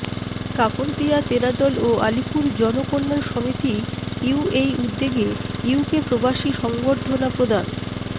কাকরদিয়া তেরাদল ও আলীপুর জন কল্যাণ সমিতি ইউএই উদ্যোগে ইউকে প্রবাসীকে সংবর্ধনা প্রদান